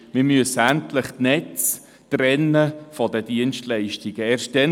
Wir müssen endlich die Netze von den Dienstleistungen trennen.